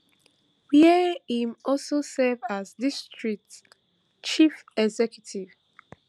wey im also serve as district chief executive